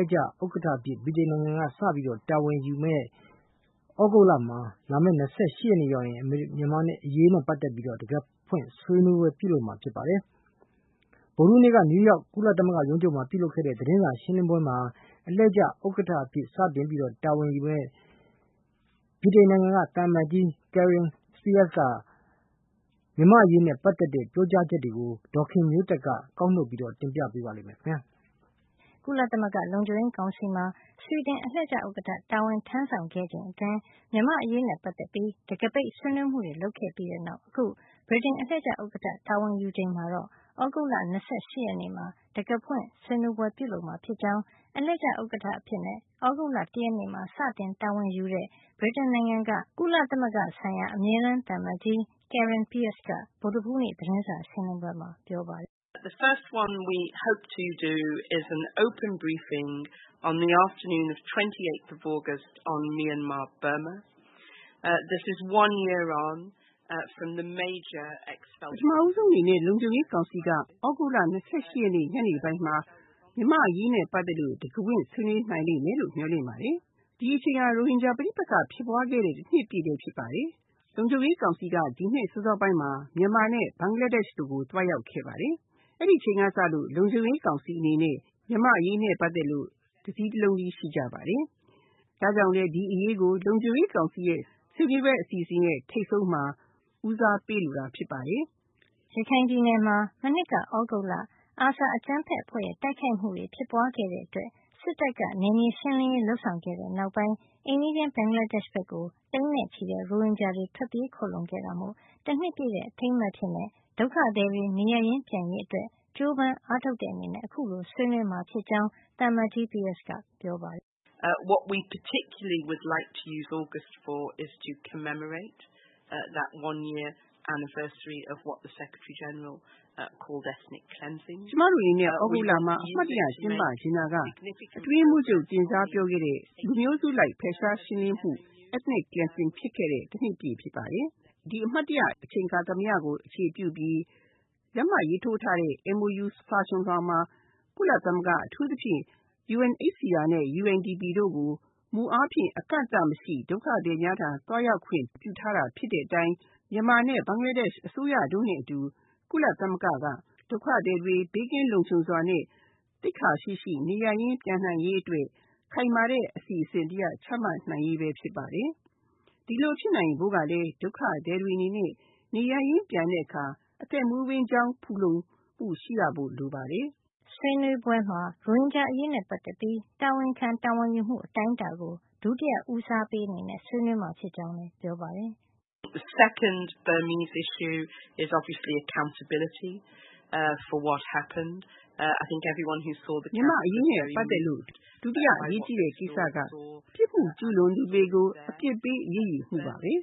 ည့်ကျဥက္ကဌ အဖြစ် ဗြိတိန်က စတင်တာဝန်ယူတဲ့ သြဂုတ်လမှာ လာမယ့် ၂၈ ရက်နေ့ရောက်ရင် မြန်မာ့အရေးကို တံခါးဖွင့်ဆွေးနွေးပွဲ ပြုလုပ်မှာ ဖြစ်ပါတယ်။ ဗုဒ္ဓဟူးနေ့က နယူးရောက် ကုလသမဂ္ဂရုံးချုပ်မှာ ပြုလုပ်တဲ့ သတင်းစာရှင်းလင်းပွဲမှာ အလှည့်ကျဥက္ကဌ အဖြစ် စတင်တာဝန်ယူတဲ့ ဗြိတိန် နိုင်ငံက သံအမတ်ကြီး Karen Pierce ရဲ့ မြန်မာ့အရေးနဲ့ ပတ်သက်တဲ့ ပြောကြားချက်တွေကို ဒေါ်ခင်မျိုးသက်က ကောက်နှုတ်တင်ပြပေးမှာပါ။ ကုလသမဂ္ဂ လုံခြုံရေး ကောင်စီမှာ ဆွီဒင် အလှည့်ကျဥက္ကဌတာဝန် ထမ်းဆောင်ခဲ့ချိန်အတွင်း မြန်မာ့အရေးနဲ့ပတ်သက်ပြီး တံခါးပိတ် ဆွေးနွေးမှုတွေ လုပ်ခဲ့ပြီးတဲ့နောက် အခု ဗြိတိန် အလှည့်ကျဥက္ကဌ တာဝန်ယူချိန်မှာတော့ သြဂုတ်လ ၂၈ ရက်နေ့မှာ တံခါးဖွင့်ဆွေးနွေးပွဲ ပြုလုပ်မှာ ဖြစ်ကြောင်း အလှည့်ကျ ဥက္ကဌ အဖြစ် သြဂုတ်လ ၁ ရက်နေ့မှာစတင် တာဝန်ယူတဲ့ ဗြိတိန်နိုင်ငံက ကုလသမဂ္ဂ ဆိုင်ရာ အမြဲတမ်း သံအမတ်ကြီး Karen Pierce က ဗုဒ္ဓဟူးနေ့ သတင်းစာရှင်းလင်းပွဲမှာ ပြောပါတယ်။ "ပထမဦးဆုံး အနေနဲ့ လုံခြုံရေးကောင်စီက သြဂုတ်လ ၂၈ ရက်နေ့ ညနေပိုင်းမှာ မြန်မာ့အရေးနဲ့ ပတ်သက်လို့ တံခါးဖွင့် ဆွေးနွေးနိုင်လိမ့်မယ်လို့ မျှော်လင့်ပါတယ်။ ဒီအချိန်ဟာ ရိုဟင်ဂျာ ပဋိပက္ခ ဖြစ်ပွါးခဲ့တဲ့ တနှစ်ပြည့်လည်း ဖြစ်ပါတယ်။ လုံခြုံရေး ကောင်စီကနေ ဒီနှစ်စောစောပိုင်းက မြန်မာနဲ့ ဘင်္ဂလားဒေ့ရှ် တို့ကို သွားရောက်ခဲ့ပါတယ်။ အဲဒီအချိန်က လုံခြုံရေး ကောင်စီ အနေနဲ့ မြန်မာ့ အရေးနဲ့ ပတ်သက်လို့ တစည်းတလုံးတည်း ရှိကြပါတယ်။ ဒါ့ကြောင့်လည်း ဒီအရေးကို လုံခြုံရေး ကောင်စီရဲ့ ဆွေးနွေးပွဲ အစီအစဉ်ရဲ့ ထိပ်ဆုံးမှာ ဦးစားပေးလိုတာ ဖြစ်ပါတယ်။" ရခိုင်ပြည်နယ်မှာ မနှစ်က သြဂုတ်လ ARSA အကြမ်းဖက် အဖွဲ့ရဲ့ တိုက်ခိုက်မှုတွေ ဖြစ်ပွါးခဲ့တဲ့အတွက် စစ်တပ်က နယ်မြေရှင်းလင်းရေး လုပ်ဆောင်ခဲ့တဲ့ နောက်ပိုင်း အိမ်နီးချင်း ဘင်္ဂလားဒေ့ရှ်ဘက်ကို သိန်းနဲ့ ချီတဲ့ ရိုဟင်ဂျာတွေ ထွက်ပြေးခိုလှုံခဲ့တာမို့ တနှစ်ပြည့်တဲ့ အထိမ်းအမှတ်အဖြစ် ဒုက္ခသည်တွေ နေရပ်ရင်း ပြန်ရေးအတွက် ကြိုးပမ်းအ ားထုတ်တဲ့ အနေနဲ့ အခုလို ဆွေးနွေးမှာ ဖြစ်ကြောင်း သံအမတ်ကြီး Pierce ကပြောပါတယ်။ "ကျမတို့ အနေနဲ့ သြဂုတ်လမှာ အမှတ်တရ ကျင်းပချင်တာက အတွင်းရေးမှုးချုပ် အနေနဲ့ တင်စားပြောခဲ့တဲ့ လူမျိုးစုလိုက် ဖယ်ရှားရှင်းလင်းမှု ethnic cleansing ဖြစ်ခဲ့တဲ့ တနှစ်ပြည့်ဖြစ်ပါတယ်။ ဒီအမှတ်တရ အချိန်အခါသမယကို အခြေပြုပြီး လက်မှတ်ရေးထိုးထားတဲ့ MoU မှာ ကုလသမဂ္ဂ အထူးသဖြင့် UNHCR နဲ့ UNDP တို့ကို မူအားဖြင့် အကန့်အသတ်မရှိ ဒုက္ခသည်များထံ သွားရောက်ခွင့် ပြုထားတာ ဖြစ်တဲ့အတိုင်း မြန်မာနဲ့ ဘင်္ဂလားဒေ့ရှ် အစိုးရ တို့နဲ့ အတူ ကုလသမဂ္ဂက ဒုက္ခသည်တွေ ဘေးကင်း လုံခြုံစွာနဲ့ သိက္ခာရှိရှိ နေရပ်ရင်း ပြန်နိုင်ရေး အတွက် ခိုင်မာတဲ့ အစီစဉ် တရပ် ချမှတ်နိုင်ရေး လည်း ဖြစ်ပါတယ်။ ဒီလို ဖြစ်နိုင်ဖို့ ကလည်း ဒုက္ခသည်တွေ အနေနဲ့ နေရပ်ရင်း ပြန်တဲ့ အခါ အသက်မွေး ဝမ်းကျောင်း ဖူလုံမှု ရှိနိုင်ဖို့ လိုပါတယ်။" ဆွေးနွေးပွဲမှာ ရိုဟင်ဂျာ အရေးနဲ့ ပတ်သက်ပြီး တာဝန်ခံတာဝန်ယူမှု အတိုင်းတာကို ဒုတိယ ဦးစားပေး အနေနဲ့ ဆွေးနွေးမှာဖြစ်ကြောင်းလည်း ပြောပါတယ်။ "မြန်မာ့ အရေးနဲ့ ပတ်သက်လို့ ဒုတိယ အရေးကြီးတဲ့ ကိစ္စက ပစ်မှု ကျူးလွန်သူတွေကို အပစ်ပေး အရေးယူဖို့ ဖြစ်ပါတယ်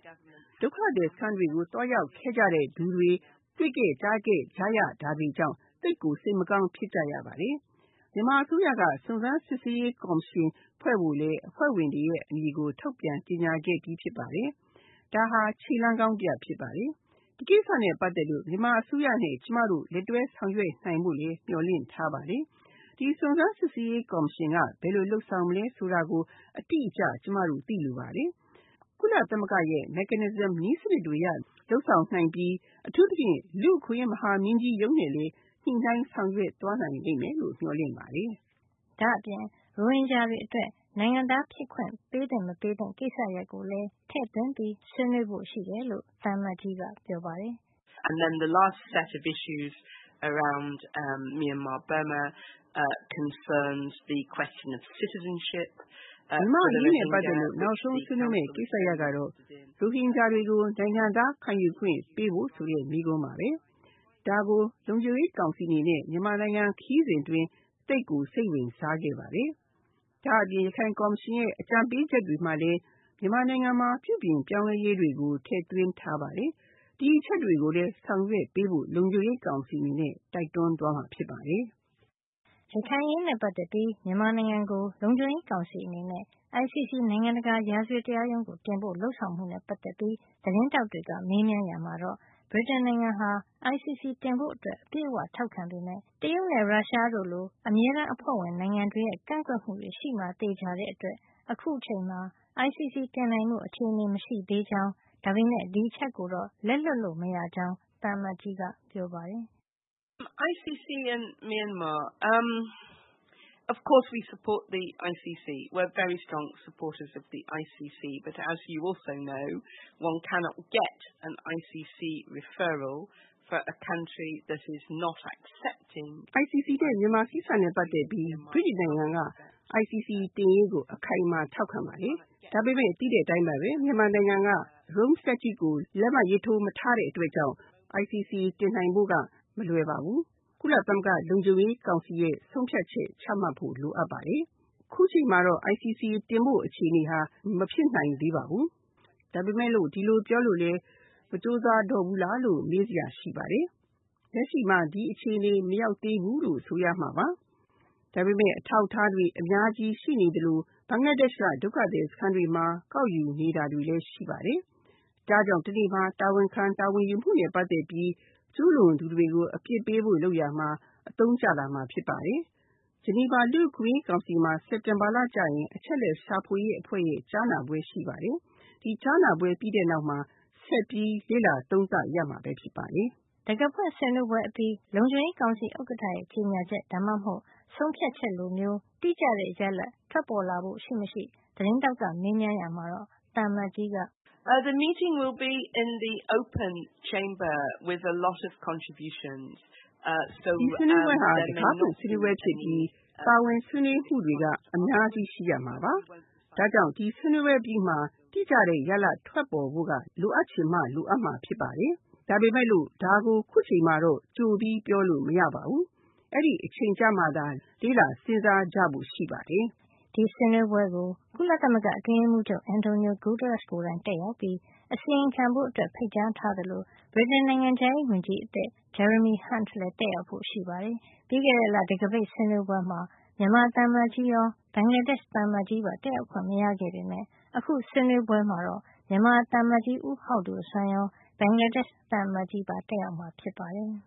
။ ဒုက္ခသည် စခန်းတွေကို သွားရောက်ခဲ့ကြတဲ့သူတွေ တွေ့ခဲ့ကြားခဲ့ကြရတာတွေကြောင့် သိပ်ကို စိတ်မကောင်း ဖြစ်ကြရပါတယ်။ မြန်မာအစိုးရက စုံစမ်းစစ်ဆေးရေး ကော်မရှင်ဖွဲ့ဖို့ အဖွဲ့ဝင်တွေရဲ့ အမည်ကို ထုတ်ပြန်ကြေညာခဲ့ပြီး ဖြစ်ပါတယ်။ ဒါဟာ ခြေလှမ်းကောင်း တရပ်ဖြစ်ပါတယ်။ ဒီကိစ္စနဲ့ ပတ်သက်လို့ မြန်မာအစိုးရနဲ့ ကျမတို့ လက်တွဲဆောင်ရွက် နိုင်ဖို့လည်း မျှော်လင့်ထားပါတယ်။ ဒီစုံစမ်း စစ်ဆေးရေး ကော်မရှင်က ဘယ်လို လုပ်ဆောင်မလဲ ဆိုတာကို အတိအကျ ကျမတို့ သိလိုပါတယ်။ ကုလသမဂ္ဂရဲ့ mechanism နည်းစံနစ်တွေအရ လုပ်ဆောင်နိုင်ပြီး အထူးသဖြင့် လူ့အခွင့်အရေး မဟာမင်းကြီးရုံးနဲ့လည်း ညှိနှိုင်း ဆောင်ရွက် သွားနိုင်လိမ့်မယ်လို့ မျှော်လင့်ပါတယ်။" ဒါ့အပြင် ရိုဟင်ဂျာတွေ အတွက် နိုင်ငံသား ပေးသင့် မပေးသင့် ကိစ္စရပ်ကိုလည်း ထည့်သွင်း ဆွေးနွေးဖို့ ရှိတယ်လို့ သံအမတ်ကြီး ကပြောပါတယ်။ "မြန်မာ့ အရေးနဲ့ ပတ်သက်လို့ နောက်ဆုံး ဆွေးနွေးမယ့် ကိစ္စရပ်ကတော့ ရိုဟင်ဂျာတွေကို နိုင်ငံသား ခံယူပေးဖို့ ဆိုတဲ့ မေးခွန်း ပါပဲ။ ဒါကို လုံခြုံရေးကောင်စီ အနေနဲ့ မြန်မာနိုင်ငံ ခရီးစဉ် အတွင်း သိပ်ကိုစိတ်ဝင်စားခဲ့ ပါတယ်။ ဒါ့အပြင် ရခိုင်ကော်မရှင်ရဲ့ အကြံပေးချက်တွေ မှာလည်း မြန်မာနိုင်ငံမှာ ပြုပြင် ပြောင်းလဲရေးတွေကို ထည့်သွင်းထားပါတယ်။ ဒီအချက်တွေ ကိုလည်း ဆောင်ရွက်ပေးဖို့ လုံခြုံရေးကောင်စီ အနေနဲ့ တိုက်တွန်းသွားမှာ ဖြစ်ပါတယ်။" ရခိုင်အရေးနဲ့ ပတ်သက်ပြီး မြန်မာနိုင်ငံကို လုံခြုံရေးကောင်စီအနေနဲ့ ICC နိုင်ငံတကာရာဇဝတ်တရားရုံးကို တင်ဖို့ လုပ်ဆောင်မှုနဲ့ ပတ်သက်လို့ သတင်းထောက်က မေးမြန်းရာမှာတော့ ဗြိတိန်နိုင်ငံက ICC တင်ဖို့ အပြည့်အဝ ထောက်ခံပေမယ့် တရုတ်နဲ့ ရုရှားတို့လို အမြဲတမ်း အဖွဲ့ဝင် နိုင်ငံတွေရဲ့ ကန့်ကွက်မှု ရှိမှာ သေချာတဲ့ အတွက် အခုချိန်မှာ ICC တင်နိုင်ဖို့ အခြေနေ မရှိသေးကြောင်း ဒါပေမယ့် ဒီအချက်ကိုတော့ လက်လွှတ်လို့ မရကြောင်း သံအမတ်ကြီးက ပြောပါတယ်။ "ICC နဲ့ မြန်မာကိစ္စနဲ့ ပတ်သက်ပြီး ဗြိတိန်နိုင်ငံက ICC တင်ရေးကို အခိုင်အမာထောက်ခံပါတယ်။ ဒါပေမယ့် သိတဲ့ အတိုင်းပဲ မြန်မာက Roman Statue ကို လက်မှတ်ရေးထိုး မထားတဲ့ အတွက် ICC တင်နိုင်ဖို့က မလွယ်ပါဘူး။ ကုလသမဂ္ဂ လုံခြုံရေးကောင်စီရဲ့ ဆုံးဖြတ်ချက်ချ မှတ်ဖို့ လိုအပ်ပါတယ်။ အချိန်မှာတော့ ICC တင်ဖို့ အခြေနေဟာ မဖြစ်နိုင်သေးပါဘူး။ ဒါပေမယ့် ဒီလိုပြောလို့လည်း မကြိုးစား တော့ဘူးလားလို့ မေးစရာ ရှိပါတယ်။ လက်ရှိမှာ ဒီအခြေနေ မရောက်သေးဘူးလို့ ဆိုရမှာပါ။ ဒါပေမယ့် အထောက်အထားတွေ အများရှိ ရှိနေသလို ဘင်္ဂလားဒေ့ရှ်က ဒုက္ခသည် စခန်းတွေမှာ ကောက်ယူ နေတာတွေ လည်း ရှိပါတယ်။ ဒါ့ကြောင့် တနေ့မှာ တာဝန်ခံ တာဝန်ယူမှုနဲ့ ပတ်သက်ပြီးကျူးလွန်သူတွေကို အပစ်ပေးဖို့ လုပ်ရာမှာ အသုံးကျလာမှာ ဖြစ်ပါတယ်။ Geneva လူ့အခွင့်ရေး ကောင်စီမှာ စက်တင်ဘာလ ကျရင် အချက်အလက် ရှာဖွေရေး အဖွဲ့ရဲ့ ကြားနာပွဲ ရှိပါတယ်။ ဒီကြားနာပွဲ ပြီးတဲ့နောက်မှာ ဆက်ပြီး လေ့လာ သုံးသပ်ရမှာလည်း ဖြစ်ပါတယ်။" တံခါးဖွင့် ဆွေးနွေးပွဲအပြီးမှာ လုံခြုံရေးကောင်စီ ဥက္ကဌရဲ့ ကြေညာချက် ဒါမှမဟုတ် ဆုံးဖြတ်ချက် လိုမျိုး တိကျတဲ့ ရလဒ် ထွက်ပေါ်လာဖို့ ရှိမရှိ သတင်းထောက်က မေးမြန်းရာမှာတော့ သံအမတ်ကြီးက- "ဒီဆွေးနွေးပွဲဟာ တံခါးဖွင့်ဆွေးနွေးပွဲဖြစ်ပြီး ပါဝင်ဆွေးနွေးမှုတွေက အများကြီး ရှိကြမှာပါ။ ဒါ့ကြောင့် ဒီဆွေးနွေးပွဲ အပြီးမှာ တိကျတဲ့ ရလဒ် ထွက်ပေါ်ဖို့က လိုအပ်ချင်မှ လိုအပ်မှာ ဖြစ်ပါတယ်။ ဒါပေမယ့် ဒါကို အခုအချိန်မှာတော့ ကြိုပြီး ပြောလို့ မရပါဘူး။ အဲဒီအချိန် ကျမှသာ လေ့လာ စဉ်းစားကြဖို့ ရှိပါတယ်။" ဒီဆွေးနွေးပွဲကို ကုလသမဂ္ဂ အတွင်းရေးမှုးချုပ် Antonio Guterres ကိုယ်တိုင်တက်ရောက်ပြီး အစီရင်ခံဖို့ ဖိတ်ကြားထားသလို ဗြိတိန် နိုင်ငံခြားရေးဝန်ကြီးအသစ် Jeremy Hunt လည်း တက်ရောက်ဖို့ ရှိပါတယ်။ ပြီးခဲ့တဲ့လ တံခါးပိတ်ဆွေးနွေးပွဲမှာ မြန်မာသံအမတ်ကြီးရော ဘင်္ဂလားဒေ့ရှ် သံအမတ်ကြီးပါ တက်ရောက် ခွင့်မရ ခဲ့ပေမယ့် အခု ဆွေးနွေးပွဲမှာ မြန်မာသံအမတ်ကြီး ဦးဟောက်ဒိုစွမ်းရော ဘင်္ဂလားဒေ့ရှ် သံအမတ်ကြီးပါ တက်ရောက်မှာ ဖြစ်ပါတယ်။